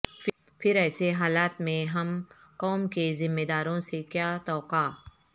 پھر ایسے حالات میں ہم قوم کے ذمہ داروں سے کیا توقع